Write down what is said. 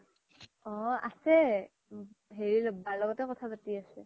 অ আছে হেৰি বাৰ ল্গ্তে কথা পাতি আছে